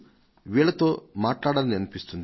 వీళ్లతో మాట్లాడాలనిపించింది